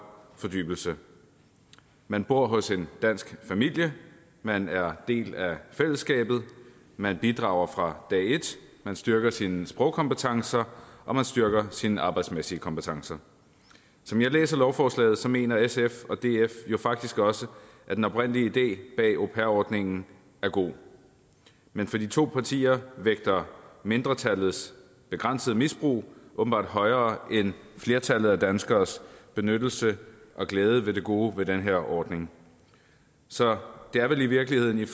fordybelse man bor hos en dansk familie man er del af fællesskabet man bidrager fra dag et man styrker sine sprogkompetencer og man styrker sine arbejdsmæssige kompetencer som jeg læser lovforslaget mener sf og df jo faktisk også at den oprindelige idé bag au pair ordningen er god men for de to partier vægter mindretallets begrænsede misbrug åbenbart højere end flertallet af danskernes benyttelse af og glæde ved det gode ved den her ordning så det er vel i virkeligheden